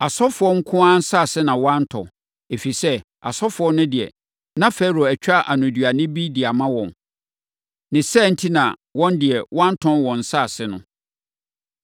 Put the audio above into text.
Asɔfoɔ nko ara nsase na wantɔ, ɛfiri sɛ, asɔfoɔ no deɛ, na Farao atwa anoduane bi de ama wɔn. Ne saa enti na wɔn deɛ, wɔantɔn wɔn nsase no.